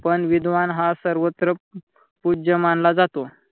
पण विद्वान हा सर्वत्र पूज्य मनाला जातो.